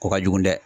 Ko ka jugu dɛ